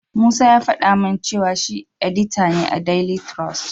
Musa ya faɗa min cewa shi edita ne a daili tirus.